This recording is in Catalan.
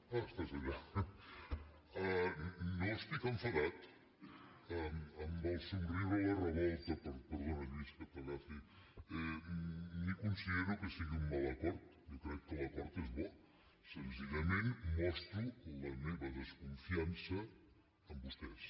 ah estàs allà no estic enfadat amb el somriure la revolta i perdona lluís que t’agafi ni considero que sigui un mal acord jo crec que l’acord és bo senzillament mostro la meva desconfiança amb vostès